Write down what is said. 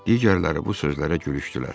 Digərləri bu sözlərə gülüşdülər.